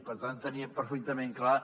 per tant teníem perfectament clar